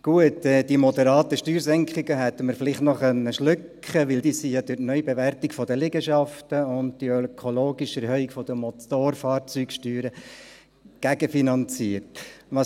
Gut, die moderaten Steuersenkungen hätten wir vielleicht noch schlucken können, weil sie durch die Neubewertung der Liegenschaften und die ökologische Erhöhung der Motorfahrzeugsteuern gegenfinanziert werden.